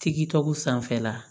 Tigi tɔgɔ sanfɛla